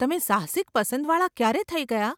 તમે સાહસિક પસંદવાળા ક્યારે થઇ ગયાં?